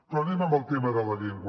però anem al tema de la llengua